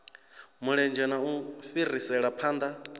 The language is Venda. mulenzhe na u fhirisela phanḓa